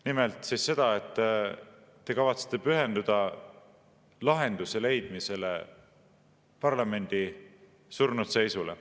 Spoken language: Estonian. Nimelt, te ütlesite, et kavatsete pühenduda lahenduse leidmisele parlamendi surnud seisule.